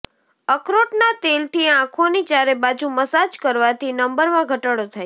અખરોટના તેલથી આંખોની ચારેબાજુ મસાજ કરવાથી નંબરમાં ઘટાડો થાય છે